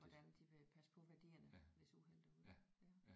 Hvordan de vil passe på værdierne hvis uheldet er ude ja